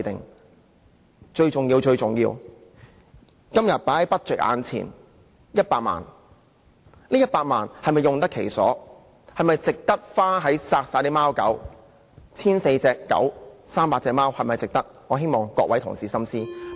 而最重要的是，今天在預算案中的這100萬元，究竟是否用得其所，是否值得花在殺害貓狗上，值得用於殺害 1,400 隻狗、300隻貓上呢？